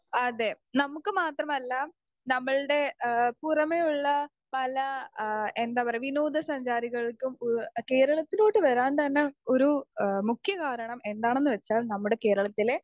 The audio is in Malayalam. സ്പീക്കർ 2 അതെ നമ്മുക്ക് മാത്രമല്ല നമ്മൾടെ ഏഹ് പുറമെയുള്ള പല ആ എന്താ പറയാ വിനോദ സഞ്ചാരികൾക്കും ഉൾ കേരളത്തിലോട്ട് വരാൻ തന്നെ ഒരു എഹ് മുഖ്യ കാരണം എന്താണെന്ന് വെച്ചാൽ നമ്മുടെ കേരളത്തിലെ